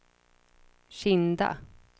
Kinda